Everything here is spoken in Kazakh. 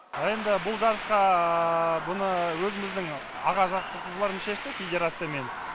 а енді бұл жарысқа бұны өзіміздің аға жаттықтырушыларым шешті федерациямен